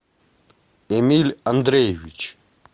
эмиль андреевич